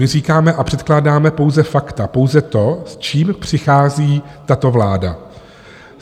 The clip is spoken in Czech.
My říkáme a předkládáme pouze fakta, pouze to, s čím přichází tato vláda.